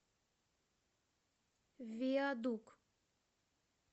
виадук